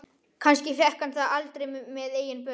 Kannski fékk hann það aldrei með eigin börn.